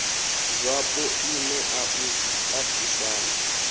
zwapo i nea u tatisana